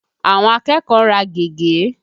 Àwọn akẹ́kọ̀ọ́ ń rà gègé.